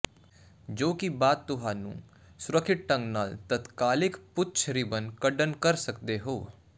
ਜੋ ਕਿ ਬਾਅਦ ਤੁਹਾਨੂੰ ਸੁਰੱਖਿਅਤ ਢੰਗ ਨਾਲ ਤਤਕਾਲਿਕ ਪੂਛ ਰਿਬਨ ਕੱਢਣ ਕਰ ਸਕਦੇ ਹੋ